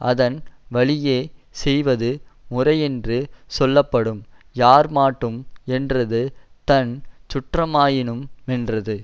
அதன் வழியே செய்வது முறையென்று சொல்ல படும் யார்மாட்டும் என்றது தன்சுற்றமாயினு மென்றது